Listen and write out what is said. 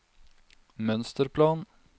mønsterplan